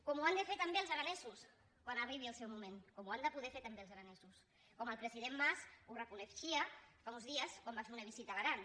com ho han de fer també els aranesos quan arribi el seu moment com ho han de poder fer també els aranesos com el president mas ho reconeixia fa uns dies quan va fer una visita a l’aran